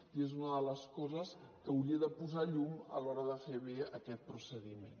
i és una de les coses que hauria de posar llum a l’hora de fer bé aquest procediment